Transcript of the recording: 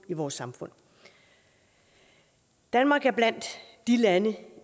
i vores samfund danmark er blandt de lande